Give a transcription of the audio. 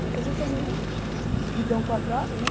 Eu vou fazer também o guidão quadrado, né?